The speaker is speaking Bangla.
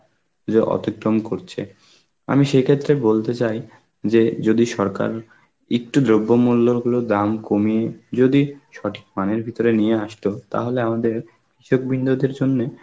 যে অতিক্রম করছে, আমি সেই ক্ষেত্রে বলতে চাই যে যদি সরকার একটু যোগ্য মূল্য হলেও দাম কমিয়ে যদি সঠিক মানের ভিতরে নিয়ে আসতো তাহলে আমাদের কৃষক বিন্দুদের জন্যে